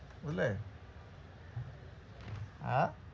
বুঝলে? আহ?